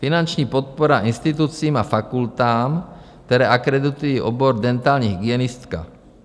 Finanční podpora institucím a fakultám, které akreditují obor dentální hygienistka.